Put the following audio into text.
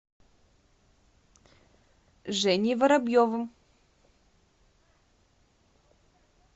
женей воробьевым